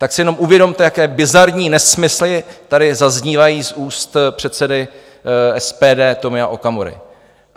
Tak si jenom uvědomte, jaké bizarní nesmysly tady zaznívají z úst předsedy SPD Tomia Okamury.